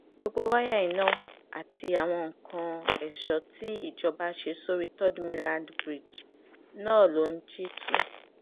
gbogbo wáyà iná àti àwọn nǹkan èso tìjọba ṣe sórí third mainland bridge náà ló ń jí tu